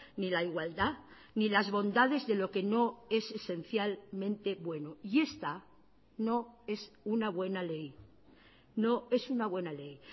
ni la igualdad ni las bondades de lo que no es esencialmente bueno y esta no es una buena ley no es una buena ley